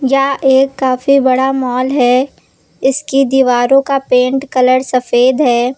यह एक काफी बड़ा मॉल है इसकी दीवारों का पेंट कलर सफेद है।